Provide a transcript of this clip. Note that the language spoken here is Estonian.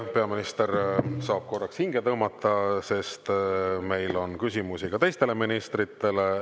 Peaminister saab korraks hinge tõmmata, sest meil on küsimusi ka teistele ministritele.